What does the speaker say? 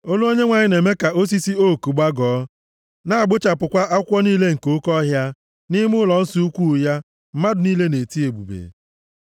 Olu Onyenwe anyị na-eme ka osisi ook gbagọọ + 29:9 Ime na-eme nne ele na-agbuchapụkwa akwụkwọ niile nke oke ọhịa. Nʼime ụlọnsọ ukwuu ya mmadụ niile na-eti, “Ebube!”